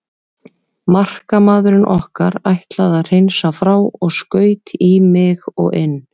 Markamaðurinn okkar ætlaði að hreinsa frá og skaut í mig og inn.